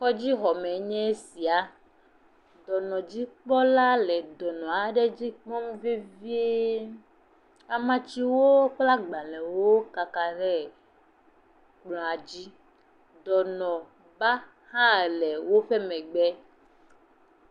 Kɔdzi xɔme nye esia. Dɔnɔdzikpɔla la le dɔnɔ aɖe dzi kpɔm vevie. Amatsiwo kple agbalẽwo kaka ɖe kplɔ dzi. Dɔnɔ na hã le woƒe megbe.